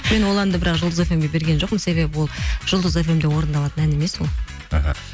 мен ол әнді бірақ жұлдыз фм ге берген жоқпын себебі ол жұлдыз фм де орындалатын ән емес ол іхі